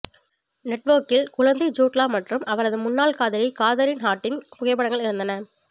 நெட்வொர்க்கில் குழந்தை Jude Law மற்றும் அவரது முன்னாள் காதலி காதரின் ஹார்டிங் புகைப்படங்கள் இருந்தன